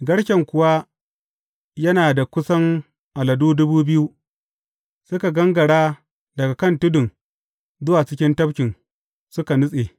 Garken kuwa, yana da kusan aladu dubu biyu, suka gangara daga kan tudun zuwa cikin tafkin, suka nutse.